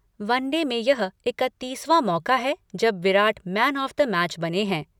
One day में यह इकत्तीसवां मौका है जब Virat man of the match बने हैं।